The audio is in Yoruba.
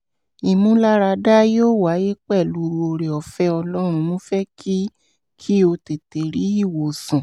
ìmúláradá yóò wáyé pẹ̀lú oore-ọ̀fẹ́ ọlọ́run mo fẹ́ kí kí o tètè rí ìwòsàn